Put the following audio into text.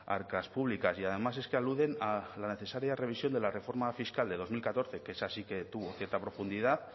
arcas públicas y además es que aluden a la necesaria revisión de la reforma fiscal del dos mil catorce que esa sí que tuvo cierta profundidad